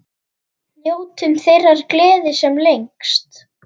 Njótum þeirrar gleði sem lengst.